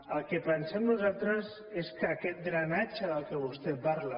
el que pensem nosaltres és que aquest drenatge del que vostè parla